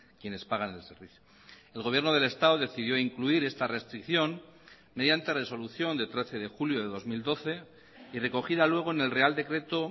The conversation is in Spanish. quienes pagan el servicio el gobierno del estado decidió incluir esta restricción mediante resolución de trece de julio de dos mil doce y recogida luego en el real decreto